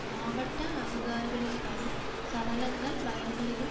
மாவட்ட அதிகாரிகளின்படி சடலங்கள் வயல்களிலும்